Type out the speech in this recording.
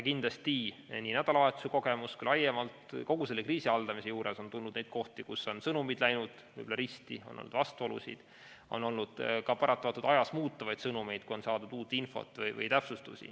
Kindlasti nii nädalavahetuse kogemuse põhjal kui ka laiemalt kogu selle kriisi haldamise juures on olnud neid kohti, kus on sõnumid läinud võib-olla risti, on olnud vastuolusid, on olnud ka paratamatult ajas muutuvaid sõnumeid, kui on saadud uut infot või täpsustusi.